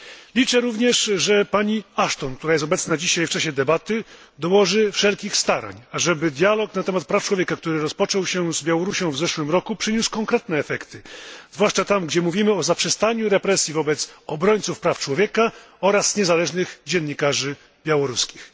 Liczę również, że pani Ashton, która jest obecna dzisiaj w czasie debaty, dołoży wszelkich starań, ażeby dialog na temat praw człowieka, który rozpoczęto z Białorusią w zeszłym roku, przyniósł konkretne efekty, zwłaszcza tam, gdzie mówimy o zaprzestaniu represji wobec obrońców praw człowieka oraz niezależnych dziennikarzy białoruskich.